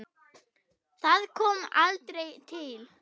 Það kom aldrei til.